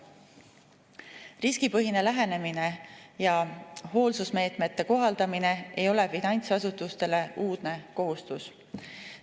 Riskipõhine lähenemine ja hoolsusmeetmete kohaldamine ei ole finantsasutustele uudne kohustus.